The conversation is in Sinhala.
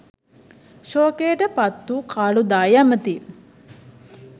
ශෝකයටපත් වූ කාළුදායි ඇමැති